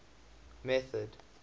method